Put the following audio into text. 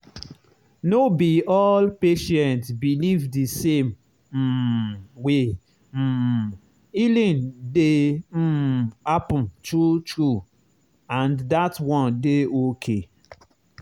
no be all patient believe the same um way um healing dey um happen true true—and that one dey okay.